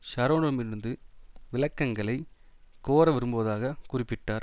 ஷரோனிடமிருந்து விளக்கங்களை கோர விரும்புவதாக குறிப்பிட்டார்